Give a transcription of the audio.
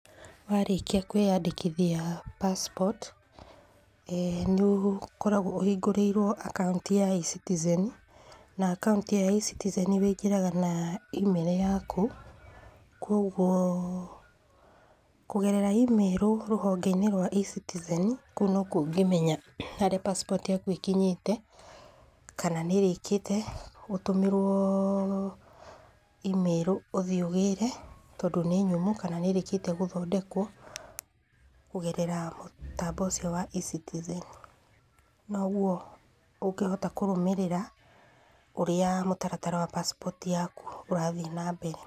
Warĩkia kwĩyandĩkithia passport nĩ ũkoragwo ũhingũrĩirwo akaunti ya eCitizen na akaunti ĩyo ya eCitizen wĩingĩraga na email yaku, kuogwo kũgerera email rũhonge-inĩ rwa eCitizen kũu nokuo ũngĩmenya harĩa passport yaku ĩkinyĩte, kana nĩ ĩrĩkĩte ũtũmĩrwo email ũthiĩ ũgĩre, tondũ nĩ nyumu kana nĩĩrĩkĩtie gũthondekwo kũgerera mũtambo ũcio wa eCitizen. Noguo ũngĩhota kũrũmĩrĩra ũrĩa mũtaratara wa passport yaku ũrathiĩ na mbere.